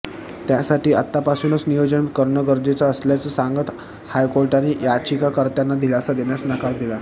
त्यासाठी आत्तापासून नियोजन करणं गरजेचं असल्याचं सांगत हायकोर्टाने याचिकाकर्त्यांना दिलासा देण्यास नकार दिला